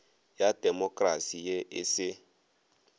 ya demokrasi ye e se